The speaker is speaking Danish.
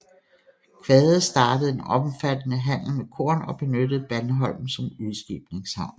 Quade startede en omfattede handel med korn og benyttede Bandholm som udskibningshavn